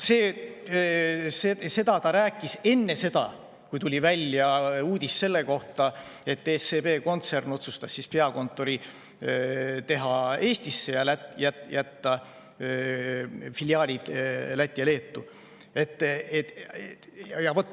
" Seda ta rääkis enne seda, kui tuli välja uudis selle kohta, et SEB kontsern otsustas peakontori teha Eestisse ning jätta Lätti ja Leetu filiaalid.